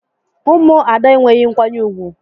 Ụmụ Ada enweghị nkwanye ùgwù.